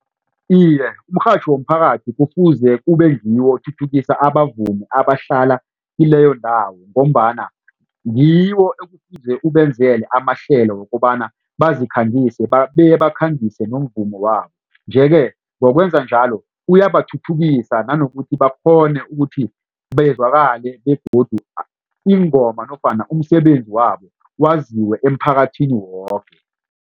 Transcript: Iye umrhatjho womphakathi kufuze kube ngiwo othuthukisa abavumi abahlala kileyo ndawo ngombana ngiwo ekufuze ubenzele amahlelo wokobana bazikhangise bebakhangise nomvumo wabo. Nje ke ngokwenza njalo uyabathuthukisa nanokuthi bakghone ukuthi bazwakale begodu ingoma nofana umsebenzi wabo waziwe emphakathini woke.